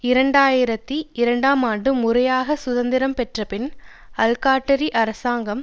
இரண்டு ஆயிரத்தி இரண்டாம் ஆண்டு முறையாக சுதந்திரம் பெற்ற பின் அல்காட்டிரி அரசாங்கம்